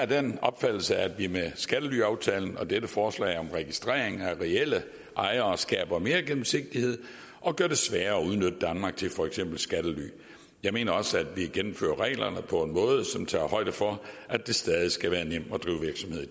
den opfattelse at vi med skattelyaftalen og dette forslag om registrering af reelle ejere skaber mere gennemsigtighed og gør det sværere at udnytte danmark til for eksempel skattely jeg mener også at vi gennemfører reglerne på en måde som tager højde for at det stadig skal være nemt at drive virksomhed i